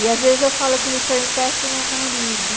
E às vezes eu falo que ele foi um péssimo marido.